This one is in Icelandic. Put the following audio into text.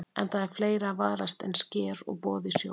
En það er fleira að varast en sker og boða í sjó.